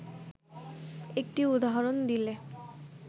একটি উদাহরণ দিলে